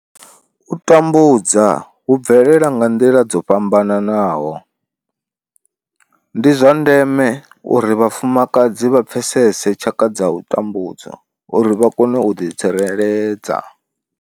U tambudza hu bvelela nga nḓila dzo fhambanaho, ndi zwa ndeme uri vhafumakadzi vha pfesese tshaka dza u tambudzwa uri vha kone u ḓitsireledza.